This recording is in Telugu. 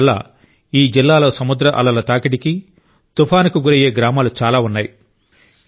అందువల్ల ఈ జిల్లాలో సముద్ర అలల తాకిడికి తుఫానుకు గురయ్యే గ్రామాలు చాలా ఉన్నాయి